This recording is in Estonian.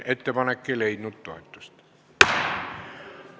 Ettepanek ei leidnud toetust.